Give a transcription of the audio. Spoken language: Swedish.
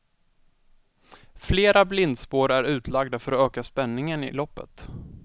Flera blindspår är utlagda för att öka spänningen i loppet.